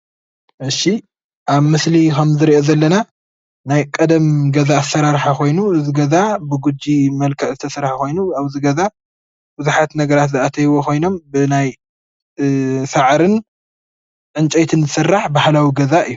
እሺ ኣብ ምስሊ ንሪኦ ከም ዘለና ናይ ቀደም ገዛ ኣሰራርሓ ኮይኑ እዚ ገዛ ብጒጂ መልክዕ ዝተሰርሓ ኮይኑ ኣብዚ ገዛ ብዙሓት ነገራት ልኣተዩዎ ኮይኖም ብናይ ሳዕርን ንጨይትን ዝስራሕ ባህላዊ ገዛ እዩ፡፡